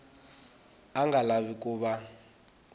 a nga lavi ku va